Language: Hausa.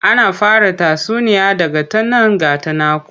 Ana fara tatsuniya da 'Ga ta nan ga ta nanku'